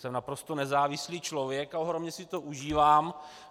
Jsem naprosto nezávislý člověk a ohromně si to užívám.